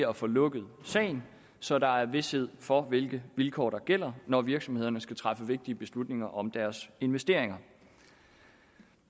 at få lukket sagen så der er vished for hvilke vilkår der gælder når virksomhederne skal træffe vigtige beslutninger om deres investeringer